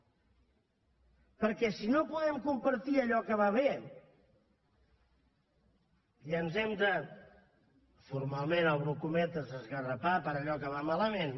perquè si no podem compartir allò que va bé i ens hem de formalment obro cometes esgarrapar per allò que va malament